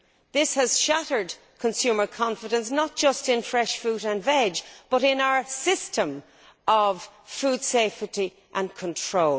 This has shattered consumer confidence not just in fresh fruit and vegetables, but in our system of food safety and control.